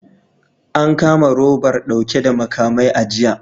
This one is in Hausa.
An kama robar dauke da makamai a jiya